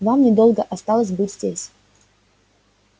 вам недолго осталось быть здесь